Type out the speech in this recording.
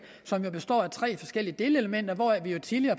som består af tre forskellige delelementer hvoraf vi jo tidligere